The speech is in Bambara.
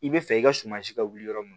I bɛ fɛ i ka suma si ka wuli yɔrɔ min